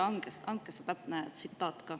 Andke see täpne tsitaat ka.